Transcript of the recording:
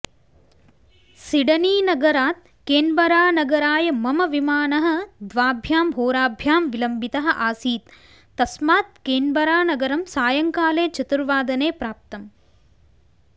सिडनीनगरात् केन्बरानगराय मम विमानः द्वाभ्यां होराभ्यां विलम्बितः आसीत् तस्मात् केन्बरानगरं सायंकाले चतुर्वादने प्राप्तम्